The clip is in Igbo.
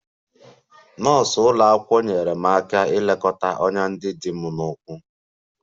Nọọsụ ụlọ akwụkwọ nyeere m aka ilekọta ọnyá ndị dị n'ụkwụ m